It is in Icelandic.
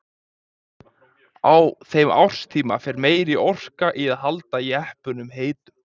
Á þeim árstíma fer meiri orka í að halda jeppanum heitum.